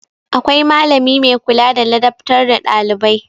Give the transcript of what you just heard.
Akwai malami mai kula da ladabtar da ɗailibai.